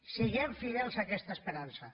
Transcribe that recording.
siguem fidels a aquesta esperança